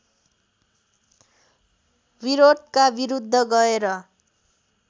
विरोधका विरुध्द गएर